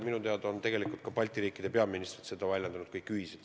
Minu teada on tegelikult Balti riikide peaministrid seda kõik ühiselt väljendanud.